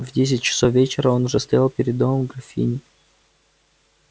в десять часов вечера он уже стоял перед домом графини